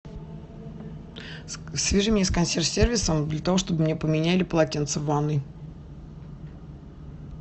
свяжи меня с консьерж сервисом для того чтобы мне поменяли полотенца в ванной